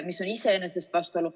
See on iseenesest vastuolu.